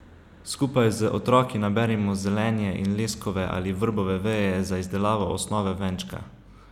Skupaj z otroki naberimo zelenje in leskove ali vrbove veje za izdelavo osnove venčka.